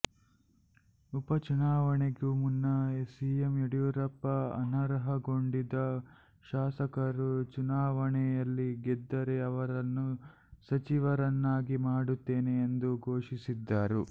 ಉಪಚುನಾವಣೆಗೂ ಮುನ್ನ ಸಿಎಂ ಯಡಿಯೂರಪ್ಪ ಅನರ್ಹಗೊಂಡಿದ್ದ ಶಾಸಕರು ಚುನಾವಣೆಯಲ್ಲಿ ಗೆದ್ದರೆ ಅವರನ್ನ ಸಚಿವರನ್ನಾಗಿ ಮಾಡುತ್ತೇನೆ ಎಂದು ಘೋಷಿಸಿದ್ದರು